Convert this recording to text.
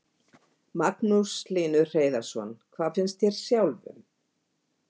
Magnús Hlynur Hreiðarsson: Hvað finnst þér sjálfum?